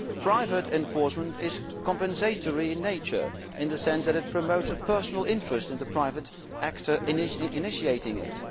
Private enforcement is compensatory in nature, in the sense that it promotes a personal interest in the private actor initiating it.